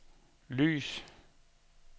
lys